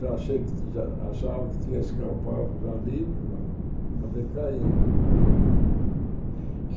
Já achei que já achava que tinha escapado já livre, mas acabei caindo. E